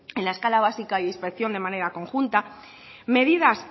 en la escala básica e inspección de manera conjunta medidas